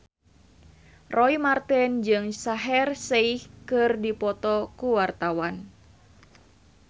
Roy Marten jeung Shaheer Sheikh keur dipoto ku wartawan